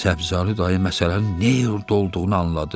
Səbzəli dayı məsələnin nə yerdə olduğunu anladı.